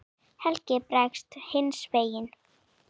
Helgi bregst hinn versti við.